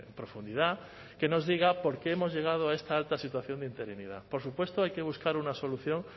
profundidad que nos diga por qué hemos llegado a esta alta situación de interinidad por supuesto hay que buscar una solución